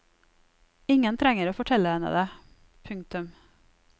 Ingen trenger å fortelle henne det. punktum